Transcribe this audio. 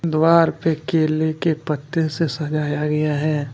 दीवार पे केले के पत्ते से सजाया गया है।